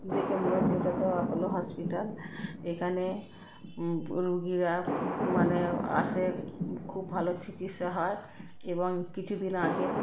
দেখে মনে হচ্ছে এটাতো অ্যাপোলো হসপিটাল । এখানে উম রোগীরা ম মানে আসে। উম খুব ভালো চিকিৎসা হয় এবং কিছুদিন আগে।